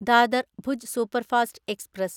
Dadar Bhuj superfast express